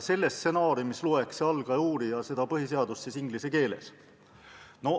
Selle stsenaariumi järgi loeks see algaja uurija põhiseadust inglise keeles.